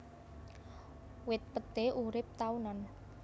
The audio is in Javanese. Wit peté urip taunan